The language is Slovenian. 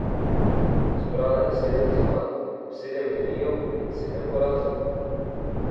Zbrala je sedem zmag, sedem remijev in sedem porazov.